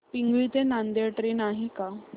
पिंगळी ते नांदेड ट्रेन आहे का